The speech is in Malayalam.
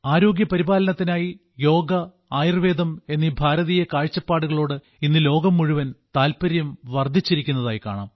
ആരോഗ്യപരിപാലനത്തിനായി യോഗ ആയുർവേദം എന്നീ ഭാരതീയമായ കാഴ്ചപ്പാടുകളോട് ഇന്ന് ലോകം മുഴുവൻ താൽപ്പര്യം വർദ്ധിച്ചിരിക്കുന്നതായി കാണാം